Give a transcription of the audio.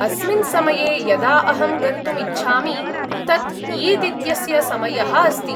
अस्मिन् समये यदा अहं गन्तुम् इच्छामि, तत् ईद् इत्यस्य समयः अस्ति।